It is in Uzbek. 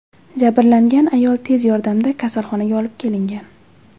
Jabrlangan ayol tez yordamda kasalxonaga olib kelingan.